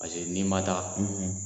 Paseke n'i man taa.